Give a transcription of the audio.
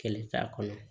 Kɛlɛ t'a kɔnɔ